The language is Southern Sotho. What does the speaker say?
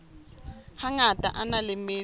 hangata a na le metso